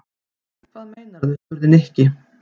Hvað meinarðu? spurði Nikki.